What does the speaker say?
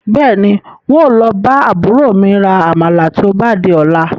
Bẹ́ẹ̀ni, ń ó lọ bá àbúrò mi rà Àmàlà tí ó bá di ọ̀la